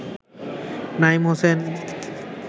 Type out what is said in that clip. Naim Hossain